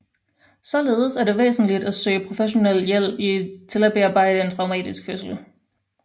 Således er det væsentligt at søge professionel hjælp til at bearbejde en traumatisk fødsel